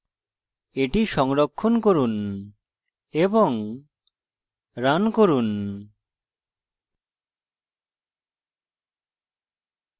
এটি সংরক্ষণ করুন এবং রান করুন